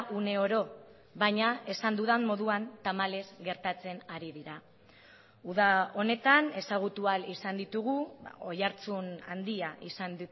uneoro baina esan dudan moduan tamalez gertatzen ari dira uda honetan ezagutu ahal izan ditugu oihartzun handia izan